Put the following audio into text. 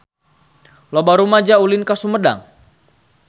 Loba rumaja ulin ka Sumedang